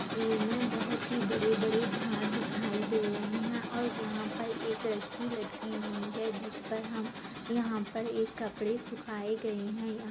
इस तस्वीर में बहुत ही बड़े बड़े झाड़ दिखाई दे रहे है और यहां पर एक रस्सी लटकी हुई है जिस पर हम यहां पर एक कपड़े सुखाये गए है।